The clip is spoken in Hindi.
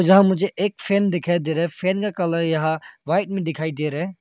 यहां मुझे एक फैन दिखाई दे रहा है। फैन का कलर यहां वाइट में दिखाई दे रहा है।